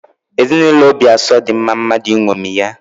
Ezinaụlọ Obiaso dị mma mmadụ ịṅomi ya.